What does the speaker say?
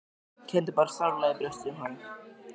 Ég kenndi bara sárlega í brjósti um hann.